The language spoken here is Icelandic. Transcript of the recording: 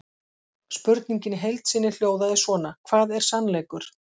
Spurningin í heild sinni hljóðaði svona: Hvað er sannleikur?